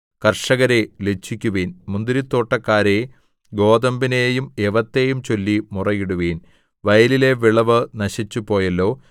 കർഷകരേ ലജ്ജിക്കുവിൻ മുന്തിരിത്തോട്ടക്കാരേ ഗോതമ്പിനെയും യവത്തെയും ചൊല്ലി മുറയിടുവിൻ വയലിലെ വിളവ് നശിച്ചുപോയല്ലോ